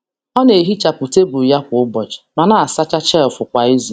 Ọ na-ehichapụ tebụl ya kwa ụbọchị, ma na-asacha shelf kwa izu.